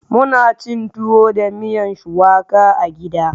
Muna cin tuwo da miyan shuwaka a gida.